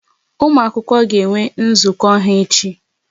Ụmụ akwụkwọ ga enwe nzukọ ha echi